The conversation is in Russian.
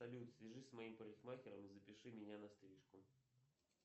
салют свяжись с моим парикмахером и запиши меня на стрижку